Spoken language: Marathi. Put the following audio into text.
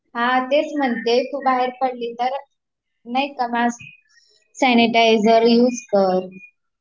हा तेच म्हणते तु बाहेर पडलीस तर मास्क सॅनिटायझर युज कर